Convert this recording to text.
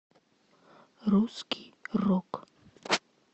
русский рок